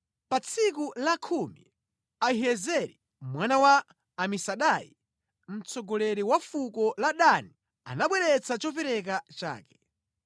Pa tsiku lakhumi Ahiyezeri mwana wa Amisadai, mtsogoleri wa fuko la Dani anabweretsa chopereka chake.